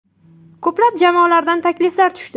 Ko‘plab jamoalardan takliflar tushdi.